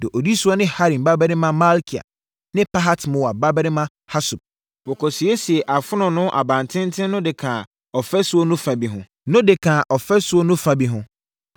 Deɛ ɔdi soɔ ne Harim babarima Malkia ne Pahat-Moab babarima Hasub. Wɔkɔsiesiee Afononoo Abantenten no de kaa ɔfasuo no fa bi ho.